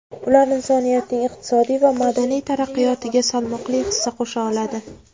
ular insoniyatning iqtisodiy va madaniy taraqqiyotiga salmoqli hissa qo‘sha oladi.